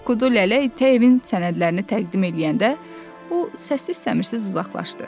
Ancaq Kudu Lələ tə evinin sənədlərini təqdim eləyəndə, o səssiz-səmirsiz uzaqlaşdı.